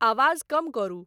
आवाज़ कम करु